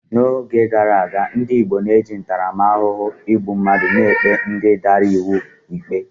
N'oge gara aga, ndị Igbo na-eji ntaramahụhụ igbu mmadụ na-ekpe ndị dara iwu ikpe